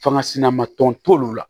Fanga sinama tɔn t'olu la